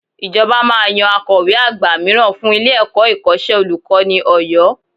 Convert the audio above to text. Ìjọba máa yan Akọ̀we àgbà mìíràn fún ilé-ẹ̀kọ́ Ìkọ́ṣẹ́ Olùkọ́ni Ọ̀yọ́